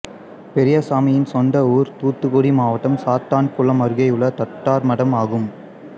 பெரியசாமியின் சொந்த ஊர் தூத்துக்குடி மாவட்டம் சாத்தான்குளம் அருகேயுள்ள தட்டார்மடம் ஆகும்